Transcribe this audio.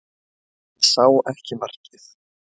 Hann sá ekki markið